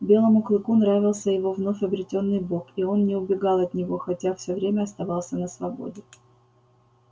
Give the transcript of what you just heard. белому клыку нравился его вновь обретённый бог и он не убегал от него хотя все время оставался на свободе